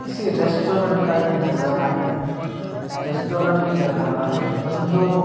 किसी रेस्टोरेंट का ये नजारा है रेस्टोरेंट ही लग रहा है बन्दों--